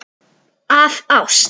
Af ást.